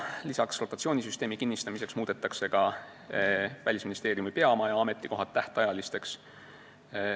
Lisaks, rotatsioonisüsteemi kinnistamiseks muudetakse Välisministeeriumi peamaja ametikohad tähtajalisteks.